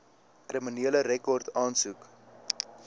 kriminele rekord aansoek